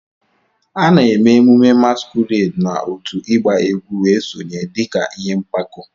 A na-eme emume masquerades na otu ịgba egwu wee sonye dị ka ihe mpako.